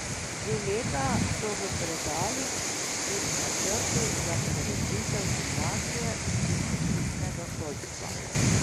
Že leta so v predalih tudi načrti za prevetritev gimnazije in poklicnega šolstva.